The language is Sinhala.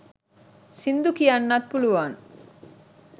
සිංදු කියන්නත් පුලුවන්.